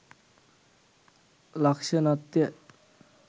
ලක්‍ෂණත්ය.